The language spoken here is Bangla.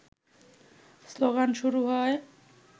স্লোগান শুরু হয়